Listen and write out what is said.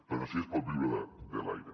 però sí que es pot viure de l’aire